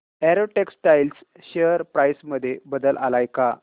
Arrow textiles share price मध्ये बदल आलाय का